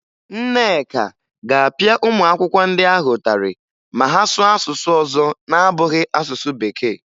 Nneka ga-apịa ụmụ akwụkwọ ndị ahụ ụtarị ma ha sụọ asụsụ ọzọ na-abụghị asụsụ Bekee